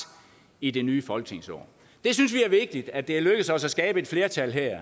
i det nye folketingsår vi synes det er vigtigt at det er lykkedes os at skabe et flertal her